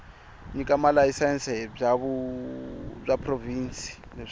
nyika malayisense bya provhinsi leswaku